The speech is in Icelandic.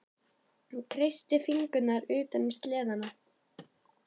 Hún kreistir fingurna utan um seðlana.